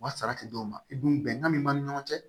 U ka sara ti d'u ma i dun bɛnkan min b'an ni ɲɔgɔn cɛ